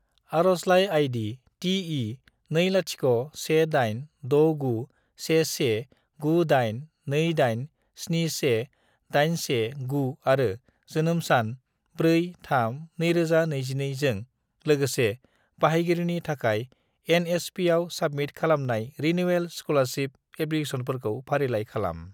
आरजलाइ ID. TE20186911982871819 आरो जोनोम सान 4-3-2022 जों लोगोसे बाहायगिरिनि थाखाय एन.एस.पि.आव साबमिट खालामनाय रिनिउयेल स्क'लारशिप एप्लिकेसनफोरखौ फारिलाइ खालाम।